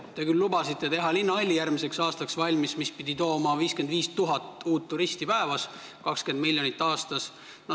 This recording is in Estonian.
Te olete küll lubanud teha järgmiseks aastaks valmis linnahalli, mis pidi tooma 55 000 uut turisti päevas ja 20 miljonit aastas.